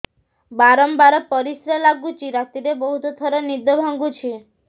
ବାରମ୍ବାର ପରିଶ୍ରା ଲାଗୁଚି ରାତିରେ ବହୁତ ଥର ନିଦ ଭାଙ୍ଗୁଛି